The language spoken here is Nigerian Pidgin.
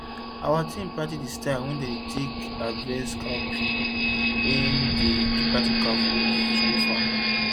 our team practice the style wey dem take dey harvest cowpea when we do practical for school farm